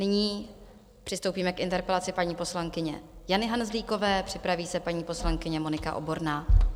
Nyní přistoupíme k interpelaci paní poslankyně Jany Hanzlíkové, připraví se paní poslankyně Monika Oborná.